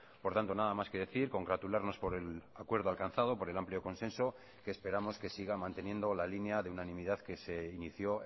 por tanto nada más que decir congratularnos por el acuerdo alcanzado por el amplio consenso que esperamos que siga manteniendo la línea de unanimidad que se inició